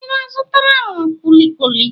Ị na-azụtara m kwuli kwuli?